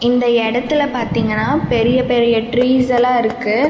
இந்த எடத்துல பாத்தீங்கனா பெரிய பெரிய ட்ரீஸ்ஸெல்லா இருக்கு.